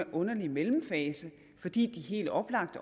underlig mellemfase fordi de helt oplagt